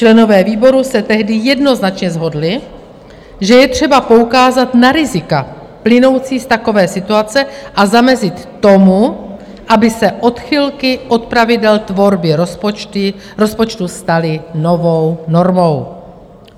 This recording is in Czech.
Členové výboru se tehdy jednoznačně shodli, že je třeba poukázat na rizika plynoucí z takové situace a zamezit tomu, aby se odchylky od pravidel tvorby rozpočtu staly novou normou.